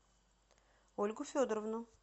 ольгу федоровну